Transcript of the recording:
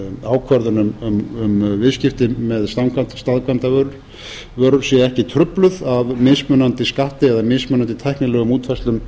ákvörðun um viðskiptin með staðkvæmdarvörur sé ekki trufluð af mismunandi skatti eða mismunandi tæknilegum útfærslum